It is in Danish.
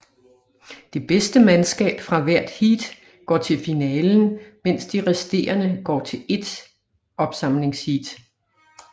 Det bedste mandskab fra hvert heat går til finalen mens de resterende går til ét opsamlingsheat